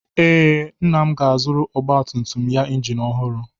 Ee, Nna m ga-azụrụ ọgbatumtum ya injin ọhụrụ.